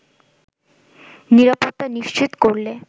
নিরাপত্তা নিশ্চিত করলে